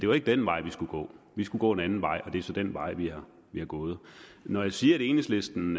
var den vej vi skulle gå vi skulle gå en anden vej og det er så den vej vi er gået når jeg siger at enhedslisten